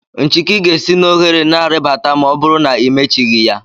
Nchiki ga-esi n'ohere a ribata ma ọ bụrụ na imechighi ya.